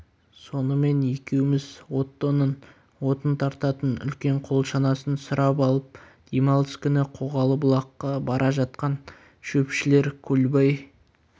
сонымен екеуміз оттоның отын тартатын үлкен қол шанасын сұрап алып демалыс күні қоғалы бұлаққа бара жатқан шөпшілер көлбай